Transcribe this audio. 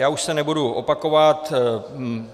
Já už se nebudu opakovat.